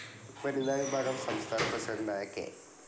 വനിതാ വിഭാഗം സംസ്ഥാന പ്രസിഡൻ്റായ കെ.